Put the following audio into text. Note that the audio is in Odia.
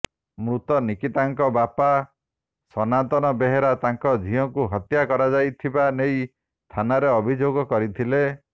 ମୃତ ନିକିତାଙ୍କ ବାପା ସନାତନ ବେହେରା ତାଙ୍କ ଝିଅକୁ ହତ୍ୟା କରାଯାଇଥିବା େନଇ ଥାନାରେ ଅଭିଯୋଗ କରିଥିଲେ